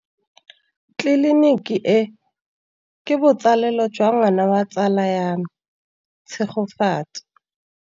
Tleliniki e, ke botsalêlô jwa ngwana wa tsala ya me Tshegofatso.